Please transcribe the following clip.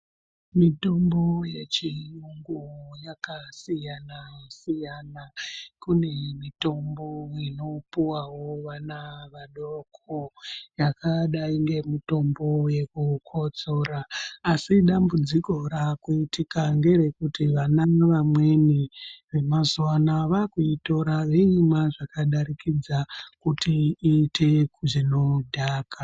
Mitombo yechiyungu yakasiyana siyana kune mitombo inopuwawo vana vadoko yakadai ngemitombo yekukotsora asi dambudziko rakuitika nderekuti vana vamweni vemazuva anawa vakuitora voimwa zvakadarikidza kuti iite zvinodhaka.